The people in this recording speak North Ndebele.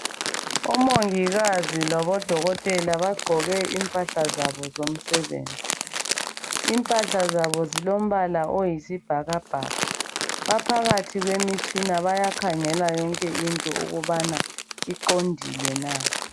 Omongikazi labodokotela bagqoke impahla zabo zomsebenzi. Impahla zabo zilombala oyisibhakabhaka. Baphakathi kwemitshina bayakhangela yonke into ukubana iqondile na.